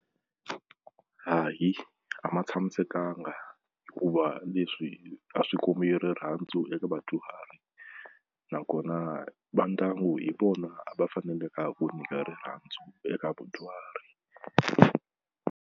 Hayi a ma tshamisekanga hikuva leswi a swi kombi rirhandzu eka vadyuhari nakona va ndyangu hi vona a va faneleka ku nyika rirhandzu eka vudyuhari.